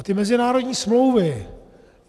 A ty mezinárodní smlouvy.